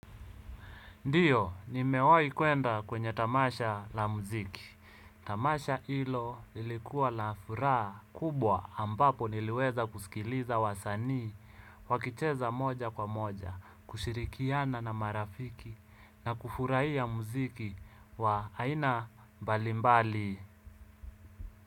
Ndio, nimewai kuenda kwenye tamasha la muziki. Tamasha hilo lilikuwa la furaha kubwa ambapo niliweza kusikiliza wasanii. Wakicheza moja kwa moja, kushirikiana na marafiki na kufurahia muziki wa aina mbali mbali.